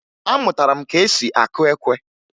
Amụtara m ka esi akụ ekwe